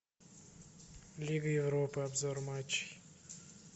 лига европа обзор матча